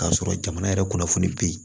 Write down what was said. K'a sɔrɔ jamana yɛrɛ kunnafoni bɛ yen